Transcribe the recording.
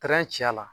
ci a la